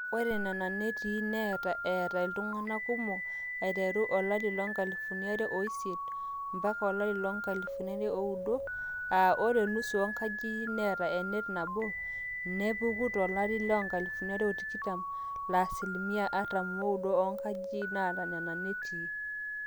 ore nena netii netaa eeta iltung'anak kumok aiteru 2008-2009, aa ore nusu oonkajijik neeta enet nabo nepeku tolari le 2020 laa asilimia artam ooudo oonkajijik naata nena netii